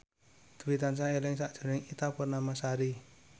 Dwi tansah eling sakjroning Ita Purnamasari